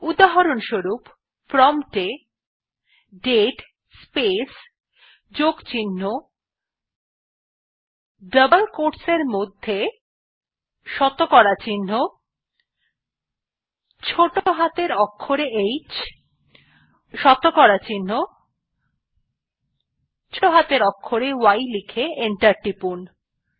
উদাহরনস্বরুপ prompt এ দাতে space যোগ চিহ্ন ডাবল কোয়োটস এ শতকরা চিহ্ন ছোটো হাতের অক্ষরে h শতকরা চিহ্ন ছোটো হাতের অক্ষরে y লিখে এন্টার টিপুন